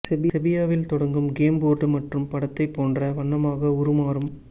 செபியாவில் தொடங்கும் game board மற்றும் படத்தைப் போன்ற வண்ணமாக உருமாறும்